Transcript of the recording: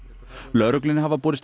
lögreglunni hafa borist